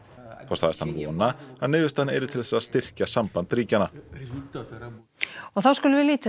þá sagðist hann vona að niðurstaðan yrði til þess að styrkja samband ríkjanna þá skulum við líta